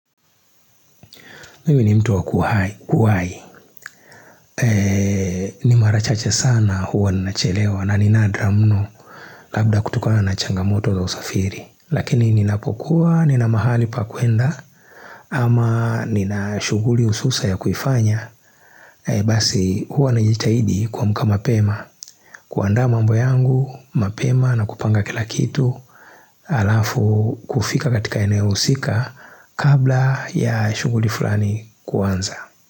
Mimi ni mtu wa kuwahi, ni mara chache sana huwa ninachelewa na ni nadra mno labda kutokana na changamoto za usafiri. Lakini ninapokuwa, nina mahali pa kuenda ama nina shughuli hususa ya kuifanya. Basi huwa najitahidi kuamka mapema, kuandaa mambo yangu, mapema na kupanga kila kitu alafu kufika katika eneo husika kabla ya shughuli fulani kuanza.